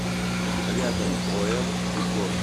рядом ом декор